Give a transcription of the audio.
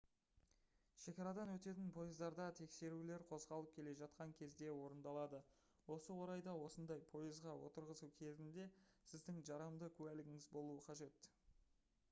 шекарадан өтетін пойыздарда тексерулер қозғалып келе жатқан кезде орындалады осы орайда осындай пойызға отырғызу кезінде сіздің жарамды куәлігіңіз болуы қажет